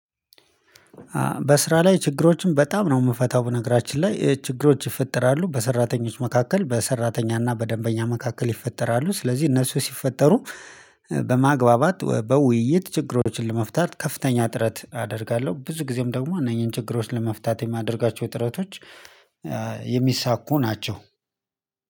በስራ ላይ ችግሮችን በጣም ነው የምፈታው ነገራችን ላይ ችግሮች ይፈጥራሉ በሰራተኞች መካከል በሰራተኛና በደንበኛ መካከል ይፈጠራሉ ስለዚህ እነሱ ሲፈጠሩ። በማግባባት በውይይት ችግሮችን ለመፍታት ከፍተኛ ጥረት አደርጋለሁ። ብዙ ጊዜም ደግሞ እነኚህን ችግሮችን ለመፍታት የማደርጋቸው ጥረቶች የሚሳኩ ናቸው።